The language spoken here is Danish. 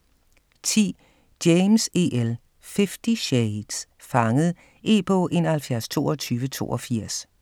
10. James, E. L.: Fifty shades: Fanget E-bog 712282